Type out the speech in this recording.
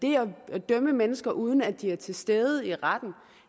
at dømme mennesker uden at de er til stede i retten